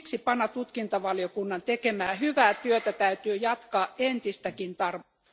Siksi PANA tutkintavaliokunnan tekemää hyvää työtä täytyy jatkaa entistäkin tarkemmin